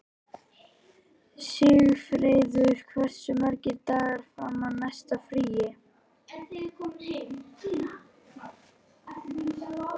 Sigfreður, hversu margir dagar fram að næsta fríi?